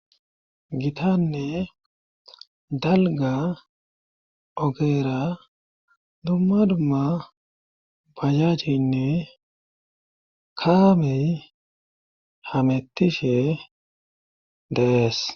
gitanne dalga ogeera dumma dumma bayajinne kaamey hamettishe deees